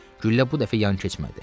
Güllə bu dəfə yan keçmədi.